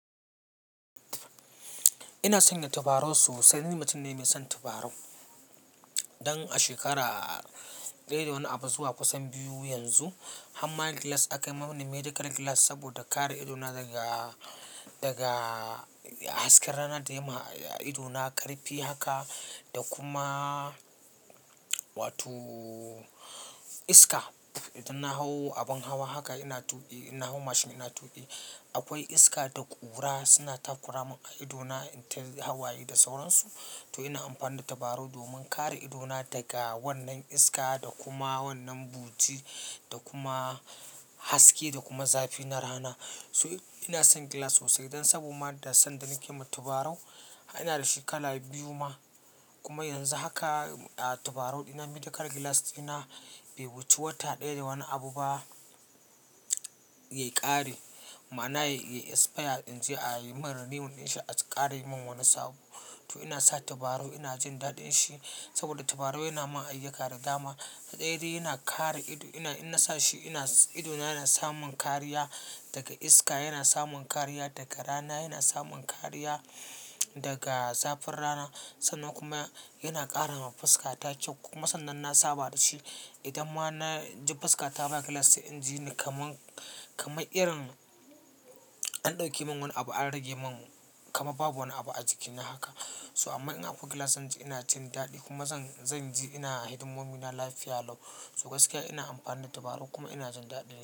Ina son yin tabarau sosai. Ni mutum ne mai son tabarau. Dan ashekara daya da wani abu zuwa kusan biyu yanzu harma glass akamin medical glass saboda kare idona daga hasken rana da yaima idona karfi haka da kuma wato iska idan na hau abin hawa haka ina tuƙi, ina hau mashin ina tuƙi, akwai iska da ƙura suna takura min a ido in ta hawaye da sauransu. To ina amfani da tabarau domin kare ido na daga wannan iska da kuma wannan buti da kuma haske da kuma zafi na rana. So ina son glass sosai don saboda ma da sanda nake ma tabarau, ina da shi kala biyu ma. Kuma yanzu haka a tabarau dina medical glass dina bai wuce wata ɗaya da wani abu ba ya ƙare. Ma'ana yayi expire inje a yimin renew ɗin shi a ƙara yi min wani sabo. To ina sa tabarau ina jin daɗin shi saboda tabarau yana ma ayyuka da dama. Ɗaya dai yana kare ido. Ina, in na sa shi ina ido na yana samun kariya daga iska, yana samun kariya daga rana, yana samun kariya daga zafin rana sannan kuma yana ƙara ma fuska ta kyau. Kuma sannan na saba da shi. Idan ma na ji fuska ta baya glass inji, kamar, kamar irin an ɗauke min wani abu an rage min kama babu wani abu a jikina haka. So amma ina akwai glass zan ji ina jindaɗi kuma zan, zan ji ina a hidimomina lafiya lau. So gaskiya ina amfani da tabarau kuma ina jin daɗin shi.